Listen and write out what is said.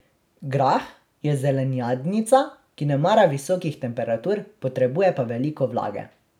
Grah je zelenjadnica, ki ne mara visokih temperatur, potrebuje pa veliko vlage.